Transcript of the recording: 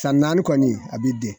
San naani kɔni a bi den